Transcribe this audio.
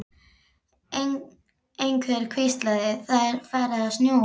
Einhver hvíslaði: Það er farið að snjóa